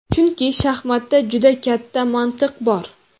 Chunki shaxmatda juda katta mantiq bor.